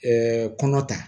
kɔnɔ ta